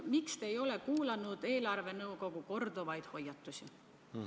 Miks te ei ole kuulanud eelarvenõukogu korduvaid hoiatusi?